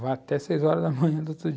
Vai até seis horas da manhã do outro dia.